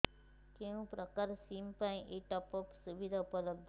କେଉଁ ପ୍ରକାର ସିମ୍ ପାଇଁ ଏଇ ଟପ୍ଅପ୍ ସୁବିଧା ଉପଲବ୍ଧ